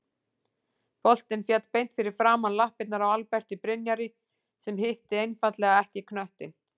Boltinn féll beint fyrir framan lappirnar á Alberti Brynjari sem hitti einfaldlega ekki knöttinn.